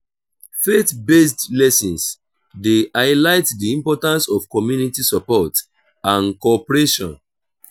faith-based lessons dey highlight the importance of community support and cooperation.